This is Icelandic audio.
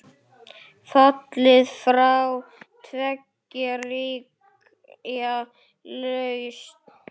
Fallið frá tveggja ríkja lausn?